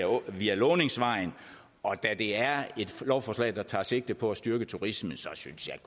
året via låningsvejen og da det er et lovforslag der tager sigte på at styrke turisme synes jeg